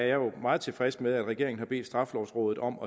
jo meget tilfreds med at regeringen har bedt straffelovrådet om